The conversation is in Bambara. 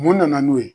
Mun nana n'o ye